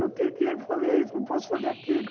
Não tenho dinheiro para fazer isso, não posso fazer aquilo.